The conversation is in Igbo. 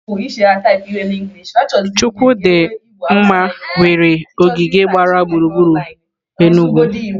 Chukwu di nma nwere ogige gbara gburugburu Enugu.